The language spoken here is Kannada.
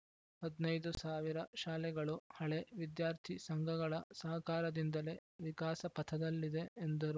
ಹದಿನೈದು ಶಾಲೆಗಳು ಹಳೆ ವಿದ್ಯಾರ್ಥಿ ಸಂಘಗಳ ಸಹಕಾರದಿಂದಲೇ ವಿಕಾಸಪಥದಲ್ಲಿದೆ ಎಂದರು